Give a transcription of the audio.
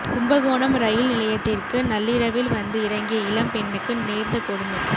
Kumbakonam rail நிலையத்திற்கு நள்ளிரவில் வந்து இறங்கிய இளம் பெண்ணுக்கு நேர்ந்த கொடுமை